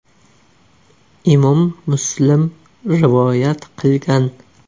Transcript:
Imom Muslim rivoyat qilgan.